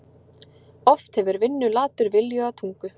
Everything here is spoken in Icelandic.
Oft hefur vinnulatur viljuga tungu.